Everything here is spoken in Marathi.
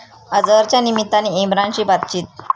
अझहरच्या निमित्ताने इम्रानशी बातचीत